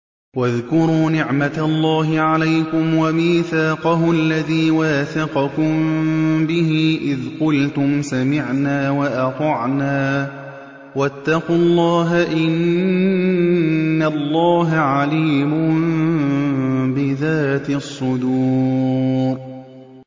وَاذْكُرُوا نِعْمَةَ اللَّهِ عَلَيْكُمْ وَمِيثَاقَهُ الَّذِي وَاثَقَكُم بِهِ إِذْ قُلْتُمْ سَمِعْنَا وَأَطَعْنَا ۖ وَاتَّقُوا اللَّهَ ۚ إِنَّ اللَّهَ عَلِيمٌ بِذَاتِ الصُّدُورِ